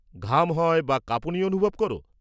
ঘাম হয় বা কাঁপুনি অনুভব করো?